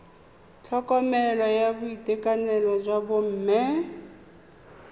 tlhokomelo ya boitekanelo jwa bomme